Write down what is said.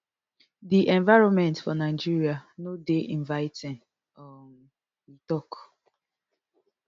di environment for nigeria no dey inviting um e tok